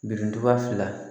Birintuba fila